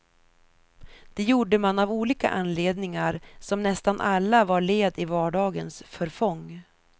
Det gjorde man av olika anledningar, som nästan alla var led i vardagens förfång.